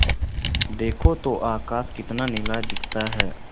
देखो तो आकाश कितना नीला दिखता है